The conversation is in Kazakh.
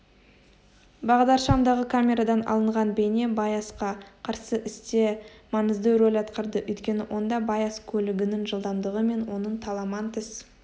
бағдаршамдағы камерадан алынған бейне байасқа қарсы істе маңызды рөл атқарды өйткені онда байас көлігінің жылдамдығы мен оның таламантес